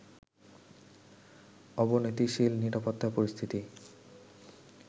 অবনতিশীল নিরাপত্তা পরিস্থিতি